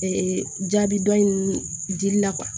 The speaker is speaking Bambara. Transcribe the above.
Ee jaabi dɔ in dili la